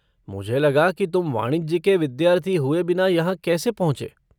मुझे लगा कि तुम वाणिज्य के विद्यार्थी हुए बिना यहाँ कैसे पहुँचे?